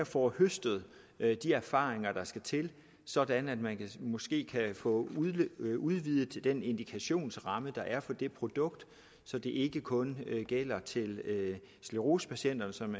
får høstet de erfaringer der skal til sådan at man måske kan få udvidet udvidet den indikationsramme der er for det produkt så det ikke kun gælder til sklerosepatienterne som